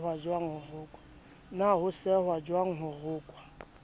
na ho sehwajwang ho rokwa